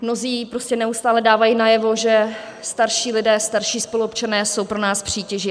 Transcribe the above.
Mnozí prostě neustále dávají najevo, že starší lidé, starší spoluobčané jsou pro nás přítěží.